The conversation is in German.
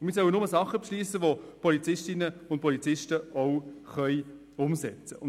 Wir sollen nur Dinge beschliessen, welche die Polizistinnen und Polizisten auch umsetzen können.